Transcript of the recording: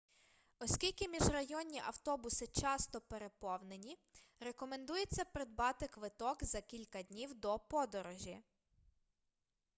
оскільки міжрайонні автобуси часто переповнені рекомендується придбати квиток за кілька днів до подорожі